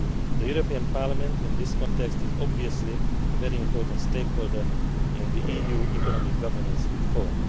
The European Parliament, in this context, is obviously a very important stakeholder in the EU economic governance reform.